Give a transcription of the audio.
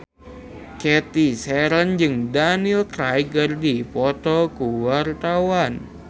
Cathy Sharon jeung Daniel Craig keur dipoto ku wartawan